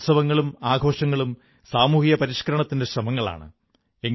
നമ്മുടെ ഉത്സവങ്ങളും ആഘോഷങ്ങളും സാമൂഹികപരിഷ്കരണത്തിന്റെ ശ്രമങ്ങളാണ്